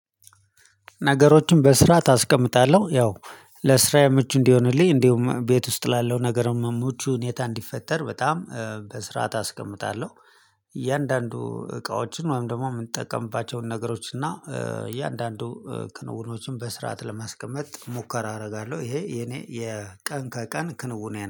ነገሮችን በስራት አስቀምጣለሁ ያው ለስራየ ምቹ እንዲሆንልኝ እንዲሁም ቤት ውስጥ ላለው ነገር መ ምቹ ሁኔታ እንዲፈጠር በጣም በስርዓት አስቀምጣለሁ። እያንዳንዱ እቃዎችን ወይም ደግሞ ምንጠቀምባቸውን ነገሮች እና እያንዳንዱ ክንውኖችን በስርዓት ለማስቀመጥ ሙከራ አደርጋለሁ ይሄ የኔ የቀን ከቀን ክንውኔ ነው